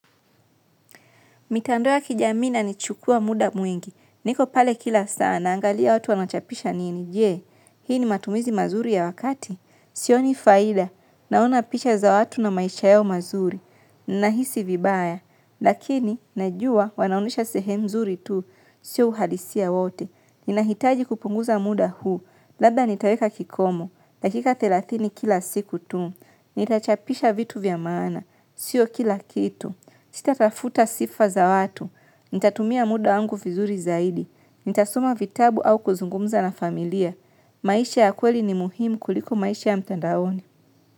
Mitandao ya kijamii inanichukua muda mwingi, niko pale kila sana, angalia watu wanachapisha nini, jee, hii ni matumizi mazuri ya wakati, sioni faida, naona picha za watu na maisha yao mazuri, nahisi vibaya, lakini, najua, wanaonyesha sehemu nzuri tu, sio uhadisia wote, inahitaji kupunguza muda huu, labda nitaweka kikomo, lakika thelathini kila siku tu, nitachapisha vitu vya maana, sio kila kitu, sitatafuta sifa za watu, nitatumia muda wangu vizuri zaidi, nitasoma vitabu au kuzungumza na familia, maisha ya kweli ni muhimu kuliko maisha ya mtandaoni.